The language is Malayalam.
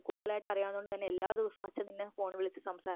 കൂടുതൽ ആയിട്ട് അറിയാവുന്നതുകൊണ്ട് തന്നെ എല്ലാദിവസവും അച്ഛൻ നിന്നെ ഫോണിൽ വിളിച്ച്